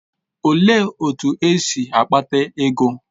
Olee otú o si kpata ego?